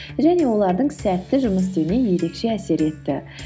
және олардың сәтті жұмыс істеуіне ерекше әсер етті